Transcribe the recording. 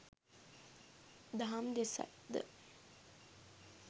දහම් දෙසයි ද